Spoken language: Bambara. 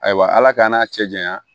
Ayiwa ala k'an n'a cɛ janya